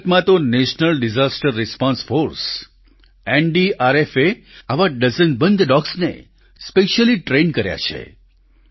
ભારતમાં તો national disaster response force NDRF એ આવા ડઝનબંધ ડોગ્સને સ્પેશિયલી ટ્રેન કર્યા છે